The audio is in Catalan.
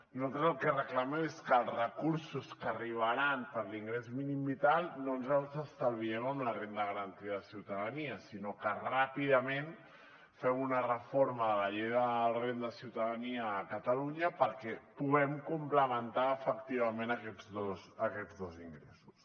nosaltres el que reclamem és que els recursos que arribaran per l’ingrés mínim vital no ens els estalviem amb la renda garantida de ciutadania sinó que ràpidament fem una reforma de la llei de la renda de ciutadania a catalunya perquè puguem complementar efectivament aquests dos ingressos